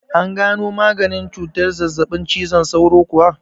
An gano maganin cutar zazzaɓin cizon sauro kuwa?